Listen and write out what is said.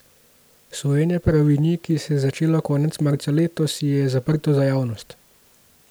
Sojenje Paravinji, ki se je začelo konec marca letos, je zaprto za javnost.